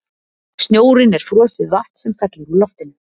Snjórinn er frosið vatn sem fellur úr loftinu.